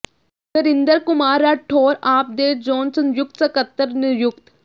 ਨਰਿੰਦਰ ਕੁਮਾਰ ਰਾਠੌਰ ਆਪ ਦੇ ਜ਼ੋਨ ਸੰਯੁਕਤ ਸਕੱਤਰ ਨਿਯੁਕਤ